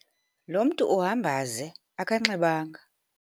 Lo mntu uhamba ze, akanxibanga